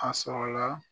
A sɔrɔla